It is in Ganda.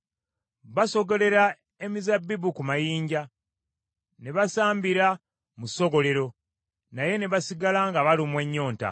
Basogolera emizabbibu ku mayinja, ne basambira mu ssogolero, naye ne basigala nga balumwa ennyonta.